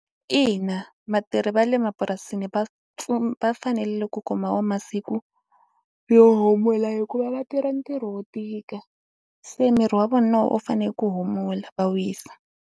Ina vatirhi va le mapurasini va pfu va fanele ku kuma wo masiku yo humula hikuva va tirha ntirho wo tika se miri wa vona wu fanele ku humula va wisa.